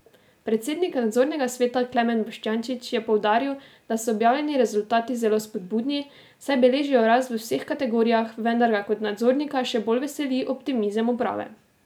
Predsednik nadzornega sveta Klemen Boštjančič je poudaril, da so objavljeni rezultati zelo spodbudni, saj beležijo rast v vseh kategorijah, vendar ga kot nadzornika še bolj veseli optimizem uprave.